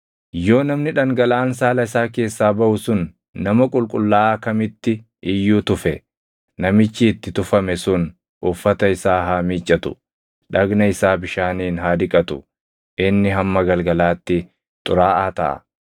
“ ‘Yoo namni dhangalaʼaan saala isaa keessaa baʼu sun nama qulqullaaʼaa kamitti iyyuu tufe, namichi itti tufame sun uffata isaa haa miiccatu; dhagna isaa bishaaniin haa dhiqatu; inni hamma galgalaatti xuraaʼaa taʼa.